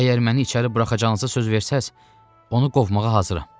Əgər məni içəri buraxacağınızı söz versəz, onu qovmağa hazıram.